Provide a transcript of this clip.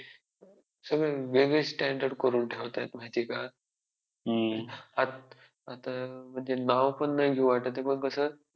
Biochemistry मध्ये मला खूप अजूनही खूप problems face करावे लागतात but जसं मी tenth नंतर अगदी काही ही येत नव्हतं मला जसं zero पासून सुरुवात केली .